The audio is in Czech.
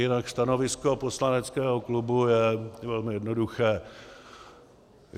Jinak stanovisko poslaneckého klubu je velmi jednoduché.